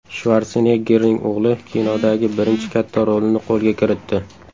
Shvarseneggerning o‘g‘li kinodagi birinchi katta rolini qo‘lga kiritdi.